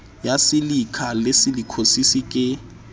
ya silikha le silikhosis ke